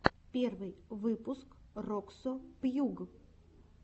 первый выпуск роксо пьюг